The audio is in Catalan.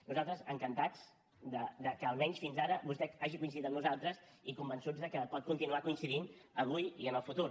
nosaltres encantats que almenys fins ara vostè hagi coincidit amb nosaltres i convençuts que pot continuar coincidint avui i en el futur